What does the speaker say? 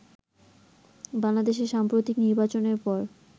বাংলাদেশের সাম্প্রতিক নির্বাচনের পর